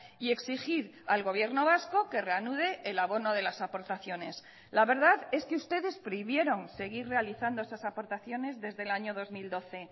y exigir al gobierno vasco que reanude el abono de las aportaciones la verdad es que ustedes prohibieron seguir realizando esas aportaciones desde el año dos mil doce